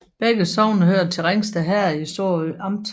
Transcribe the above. Begge sogne hørte til Ringsted Herred i Sorø Amt